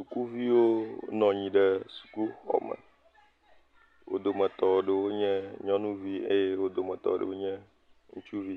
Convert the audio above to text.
Sukuviwo nɔ anyi ɖe sukuxɔme. Wo dometɔ aɖewo nye nyɔnuvi eye wo domeɔ ɖwo nye ŋutsuvi.